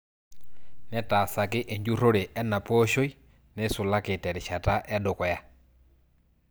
Netaasaki enjurrore ena pooshoi neisulaki terishata edukuya.